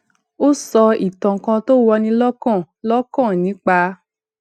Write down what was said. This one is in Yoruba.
ó sọ ìtàn kan tó wọni lókàn lókàn nípa